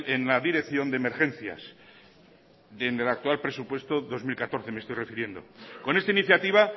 en la dirección de emergencia del actual presupuesto dos mil catorce me estoy refiriendo con esta iniciativa